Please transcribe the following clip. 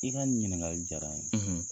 I ka nin ɲiningali diyara n ye,